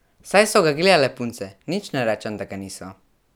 Saj so ga gledale punce, nič ne rečem, da ga niso.